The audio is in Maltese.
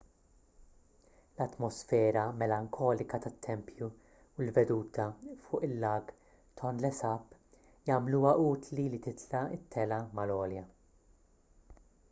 l-atmosfera melankolika tat-tempju u l-veduta fuq il-lag tonle sap jagħmluha utli li titla' t-telgħa mal-għolja